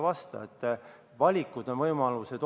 Need on valikud ja võimalused.